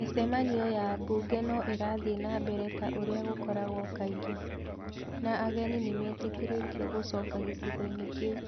Mĩcemanio ya mbunge no ĩrathiĩ na mbere ta ũrĩa gũkoragwo kaingĩ . Na ageni nĩ metekeretio gũcoka gĩcigo-inĩ kĩu.